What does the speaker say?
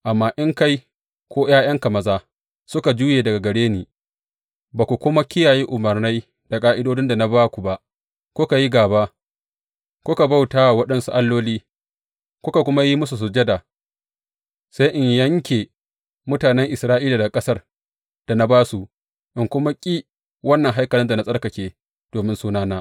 Amma in kai, ko ’ya’yanka maza, suka juye daga gare ni, ba ku kuma kiyaye umarnai da ƙa’idodin da na ba ku ba, kuka yi gaba, kuka bauta wa waɗansu alloli, kuka kuma yi musu sujada, sai in yanke mutanen Isra’ila daga ƙasar da na ba su, in kuma ƙi wannan haikalin da na tsarkake domin Sunana.